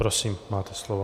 Prosím, máte slovo.